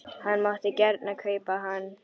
Hann mátti gjarnan kaupa hann.